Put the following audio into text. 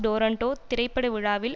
Toronto திரைப்படவிழாவில்